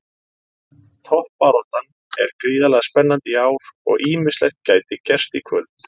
Toppbaráttan er gríðarlega spennandi í ár og ýmislegt gæti gerst í kvöld.